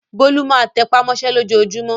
Bólú máa tẹ́pá mọ́ṣẹ́ lójoojúmọ́.